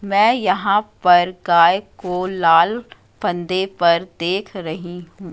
मैं यहां पर गाय को लाल फंदे पर देख रही हूं।